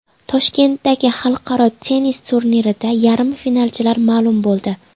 Toshkentdagi xalqaro tennis turnirida yarim finalchilar ma’lum bo‘ldi.